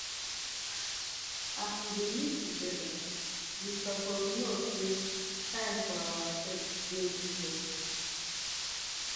as we dey live togeda you suppose know sey time for ourselves dey important